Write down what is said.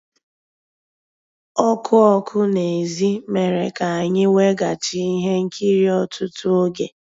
Ọ́kụ́ ọ́kụ́ n'èzí mérè ká ànyị́ wegàchí íhé nkírí ọ́tụtụ́ ògé.